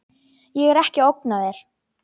Ég er ekki að ógna þér.